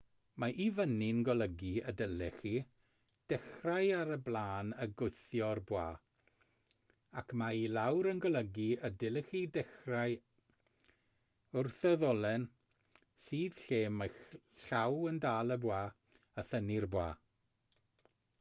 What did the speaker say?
mae i fyny'n golygu y dylech chi ddechrau ar y blaen a gwthio'r bwa ac mae i lawr yn golygu y dylech chi ddechrau wrth y ddolen sydd lle mae'ch llaw yn dal y bwa a thynnu'r bwa